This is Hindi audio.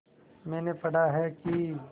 मैंने पढ़ा है कि